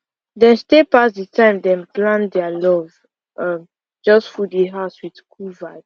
dem stay pass the time dem plan dia love um just full di house wit cool